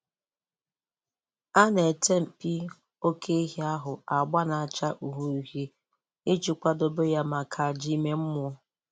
A na-ete mpi oké ehi ahụ agba na-acha uhie uhie iji uhie iji kwadebe ya maka àjà ime mmụọ.